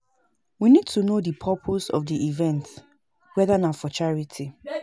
We need to know di purpose of di event weda na for charity